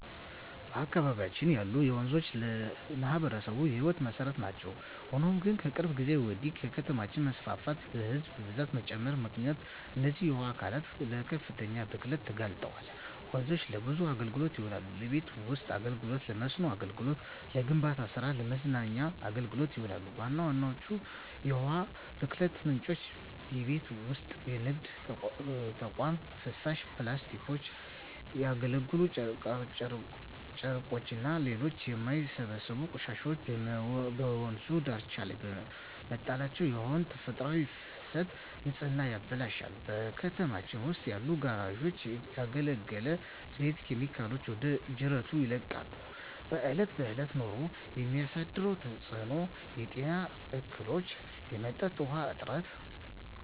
በአካባቢያችን ያሉ ወንዞች ለማኅበረሰቡ የሕይወት መሠረት ናቸው። ሆኖም ግን፣ ከቅርብ ጊዜ ወዲህ በከተማ መስፋፋትና በሕዝብ ብዛት መጨመር ምክንያት እነዚህ የውሃ አካላት ለከፍተኛ ብክለት ተጋልጠዋል። ወንዞች ለብዙ አገልግሎቶች ይውላሉ። ለቤት ውስጥ አገልግሎ፣ ለመስኖ አገልግሎት፣ ለግንባታ ስራ እና ለመዝናኛ አገልግሎቶች ይውላሉ። ዋና ዋና የውሃ ብክለት ምንጮች:- የቤት ውስጥና የንግድ ተቋማት ፍሳሽ፣ ፕላስቲኮች፣ ያገለገሉ ጨርቆችና ሌሎች የማይበሰብሱ ቆሻሻዎች በወንዝ ዳርቻዎች ላይ መጣላቸው የውሃውን ተፈጥሯዊ ፍሰትና ንጽህና ያበላሻሉ። በከተማው ውስጥ ያሉ ጋራዦች ያገለገለ ዘይትና ኬሚካሎችን ወደ ጅረቶች ይለቃሉ። በእለት በእለት ኑሮ የሚያሳድረው ተጽኖ:- የጤና እክሎች፣ የመጠጥ ውሀ እጥረት…